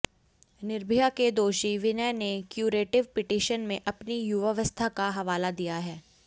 निर्भया के दोषी विनय ने क्यूरेटिव पिटीशन में अपनी युवावस्था का हवाला दिया है